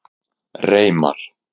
Reimar